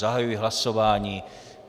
Zahajuji hlasování.